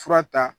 Fura ta